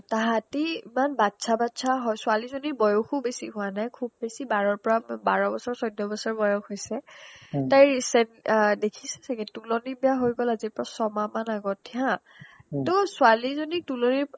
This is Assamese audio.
তাহাতেই ইমান বাচ্ছা বাচ্ছা হয় ছোৱালীজনীৰ বয়্সো বেছি হোৱা নাই খুব বেছি বাৰৰ পৰা বাৰ বছৰ চৈধ্য বছৰ বয়্স হৈছে তাইৰ চেন দেখিছা ছাগে তুলনি বিয়া হৈ গ'ল ছমাহমান আগতে হা টৌ ছোৱালীজনীৰ তুলনিৰ